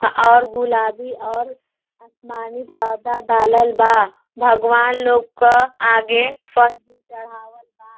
और गुलाबी और आसमानी पर्दा डालल बा। भगवान लोग का आगे फल भी चढ़ा वाल बा।